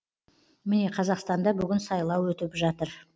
міне қазақстанда бүгін сайлау өтіп атыр